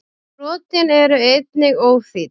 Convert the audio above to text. Brotin eru einnig óþýdd.